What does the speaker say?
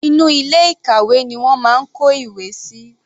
Inú ilé ìkàwé ni wọ́n máa ń kó ìwé síi.